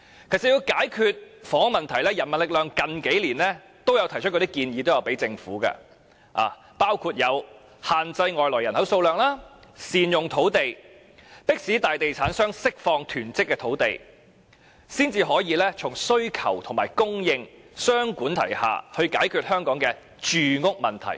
其實，要解決房屋問題，人民力量最近數年均有向政府提出建議，包括限制外來人口數量、善用土地、迫使大地產商釋放囤積的土地，才可以從需求及供應雙管齊下，以解決香港的住屋問題。